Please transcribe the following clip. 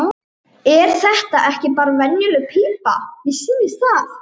Er þetta ekki bara venjuleg pípa, mér sýnist það.